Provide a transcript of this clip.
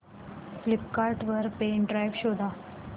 Flipkart वर pen drive शोधा